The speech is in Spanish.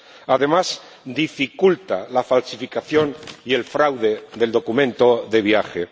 Además, dificulta la falsificación y el fraude del documento de viaje.